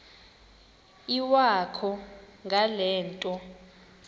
iwakho ngale nto